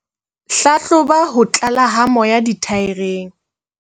Hlahloba ho tlala ha moya dithaereng.